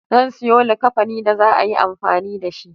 Zan siyo likkafani da za'a yi amfani dashi